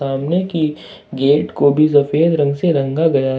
सामने की गेट को भी सफेद रंग से रंगा गया है।